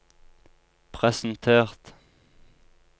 presentert